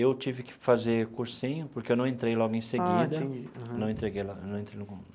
Eu tive que fazer cursinho porque eu não entrei logo em seguida. Ah entendi aham.